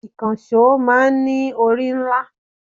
Ìkànsó máa ń ní orí ńlá